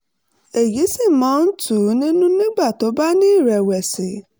èyí sì máa ń tù ú nínú nígbà tó bá ní ìrẹ̀wẹ̀sì